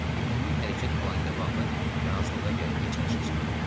Ümumi hərəkət planı ilə bağlı razılığa gəlməyə çalışacağam.